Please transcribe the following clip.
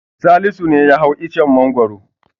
Salisu ne ya hau icen Mangwaro.